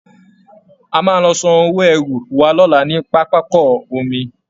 A máa lọ san owó ẹrù wa lọ́la ní pápákọ omi